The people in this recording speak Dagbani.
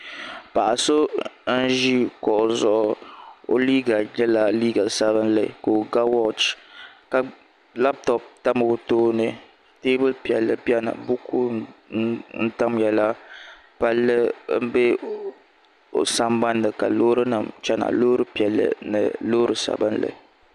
Paɣa so n ʒi kuɣu zuɣu o liiga nyɛla liiga sabinli ka o ga wooch ka labtop tam o tooni teebuli piɛlli biɛni buku n tamya la palli n bɛ o sambanni ka loori nim chɛna loori piɛlli ni loori sabinli